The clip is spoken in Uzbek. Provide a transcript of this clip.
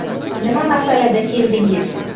Nima masalada keldingiz?